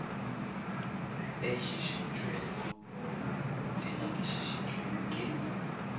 e šišintšwego di nyakišišitšwe ka